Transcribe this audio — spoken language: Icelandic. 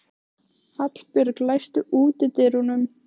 Henni kemur hann kannski ekkert við lengur.